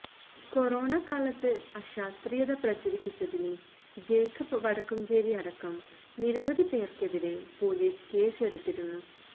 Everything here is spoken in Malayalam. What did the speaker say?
കൊറോണക്കാലത്ത് അശാസ്ത്രീയത പ്രചരിപ്പിച്ചതിന് ജേക്കബ് വടക്കുംചേരി അടക്കം നിരവധി പേർക്കെതിരെ പൊലീസ് കേസ് എടുത്തിരുന്നു